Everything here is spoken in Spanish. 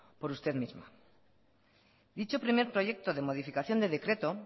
por usted misma dicho primer proyecto de modificación de decreto